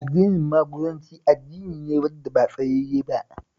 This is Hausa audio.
Addinin Maguzanci addini ne wanda ba tsayayye ba